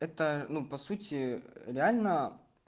это ну по сути реально